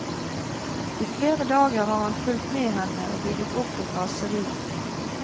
I flere dager har han fulgt med henne og bygget opp et raseri.